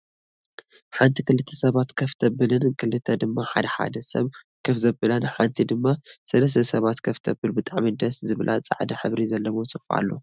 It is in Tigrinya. ሓንቲ ክልተ ሰባት ከፍ ተብልን ክልተ ድማ ሓደ ሓደ ሰብ ከፍ ዘብላን ሓንቲ ድማ ሰለስተ ሰባት ከፍ ተብል ብጣዕሚ ደስ ዝብላ ፃዕዳ ሕብሪ ዘለዎ ሶፋ ኣሎ።